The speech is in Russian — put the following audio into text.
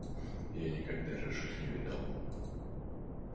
я никогда рыжих не видал